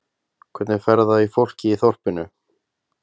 Hvernig fer það í fólkið í þorpinu?